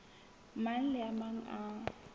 mang le a mang a